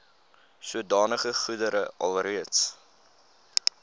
sodanige goedere alreeds